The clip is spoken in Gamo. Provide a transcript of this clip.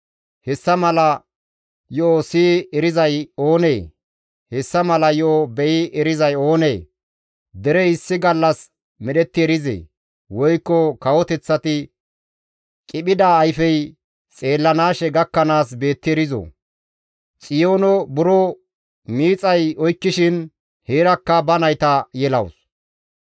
Hessa mala yo7o siyi erizay oonee? Hessa mala yo7o be7i erizay oonee? Derey issi gallas medhetti erizee? Woykko kawoteththati qiphida ayfey xeellanaashe gakkanaas beetti erizoo? Xiyoono buro miixay oykkishin heerakka ba nayta yelawus.